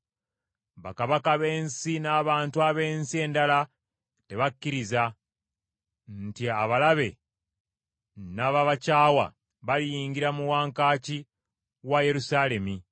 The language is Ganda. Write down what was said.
Bakabaka b’ensi n’abantu ab’ensi endala tebakkiriza, nti abalabe n’ababakyawa baliyingira mu wankaaki wa Yerusaalemi.